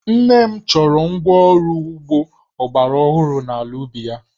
Nne m chọrọ ngwa ọrụ ugbo ọgbaraọhụrụ n'ala ubi ya